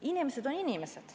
Inimesed on inimesed.